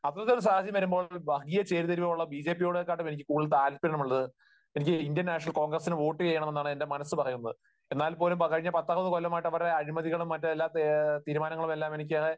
അത്തരത്തിലുള്ള ഒരു സാഹചര്യം വരുമ്പോൾ വർഗീയ ചേരിതിരിവുള്ള ബിജെപിയേക്കാൾ എനിക്ക് കൂടുതൽ താല്പര്യമുള്ളത്, എനിക്ക് ഇന്ത്യൻ നാഷണൽ കോൺഗ്രസിന് വോട്ടു ചെയ്യണമെന്നാണ് എന്റെ മനസ് പറയുന്നത്. എന്നാൽപോലും കഴിഞ്ഞ പത്തറുപതു കൊല്ലമായിട്ട് അവരുടെ അഴിമതികളും മറ്റെല്ലാ തീരുമാനങ്ങളും എനിക്ക്